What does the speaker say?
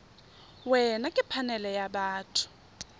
wena ke phanele ya batho